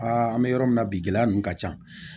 Aa an bɛ yɔrɔ min na bi gɛlɛya ninnu ka ca